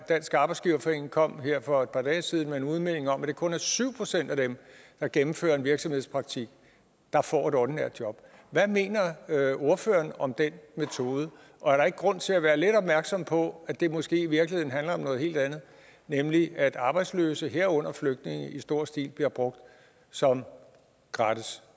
dansk arbejdsgiverforening kom her for et par dage siden med en udmelding om at det kun er syv procent af dem der gennemfører en virksomhedspraktik der får et ordinært job hvad mener ordføreren om den metode og er der ikke grund til at være lidt opmærksom på at det måske i virkeligheden handler om noget helt andet nemlig at arbejdsløse herunder flygtninge i stor stil bliver brugt som gratis